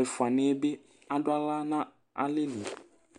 Ɛfʋaniɛ bi aɖu aɣla ŋu alɛli